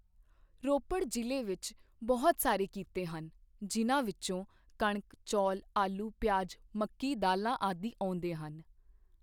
ਰੋਪੜ ਜਿਲ੍ਹੇ ਵਿੱਚ ਬਹੁਤ ਸਾਰੇ ਕਿੱਤੇ ਹਨ ਜਿਨ੍ਹਾਂ ਵਿੱਚੋਂ ਕਣਕ ਚੋਲ ਆਲੂ ਪਿਆਜ ਮੱਕੀ ਦਾਲ਼ਾਂ ਆਦਿ ਆਉਂਦੇ ਹਨ।